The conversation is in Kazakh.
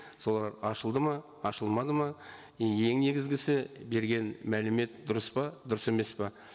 солар ашылды ма ашылмады ма и ең негізгісі берген мәлімет дұрыс па дұрыс емес пе